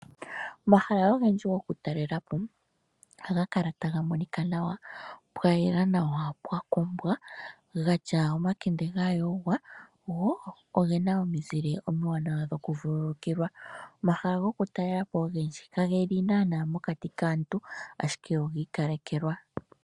Omahala ogendji goku talela po ohaga kala taga monika nawa. Pwa yela nawa, pwakombwa, gatya omakende ga yogwa, gwo ogena omizile omiwaanawa noku vululukilwa. Omahala goku talela po ogendji ka geli naana mokati kaantu, ashike ogi ikalekelwa.